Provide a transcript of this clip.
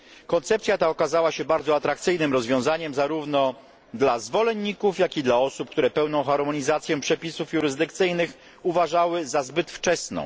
Koncepcja ta okazała się bardzo atrakcyjnym rozwiązaniem zarówno dla zwolenników, jak i dla osób, które pełną harmonizację przepisów jurysdykcyjnych uważały za zbyt wczesną.